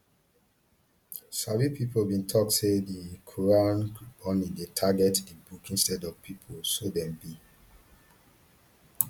sabi pipo bin tok say di quran burnings dey target di book instead of pipo so dem bin